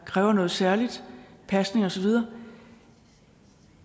kræver noget særligt pasning og så videre